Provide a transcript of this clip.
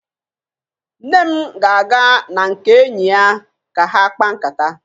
Nne m ga-aga na nke enyi ya ka ha kpaa nkata